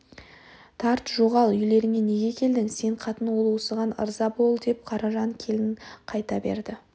тарт жоғал үйлеріңе неге келдің сен қатын ал осыған ырза бол деп қаражан кейін қайта берді